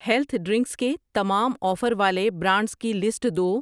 Health drinks کے تمام offer والے برانڈز کی لسٹ دو۔